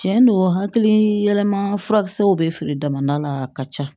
Tiɲɛ don hakili yɛlɛma furakisɛw bɛ feere dama la ka ca